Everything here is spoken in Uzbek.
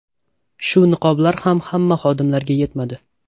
Shu niqoblar ham hamma xodimlarga yetmadi.